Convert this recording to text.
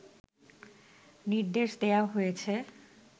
নির্দেশ দেয়া হয়েছে